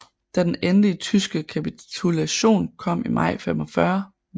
Da den endelige tyske kapitulation kom i maj 1945 var 1